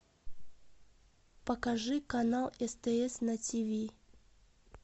покажи канал стс на тиви